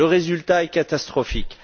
Le résultat est catastrophique.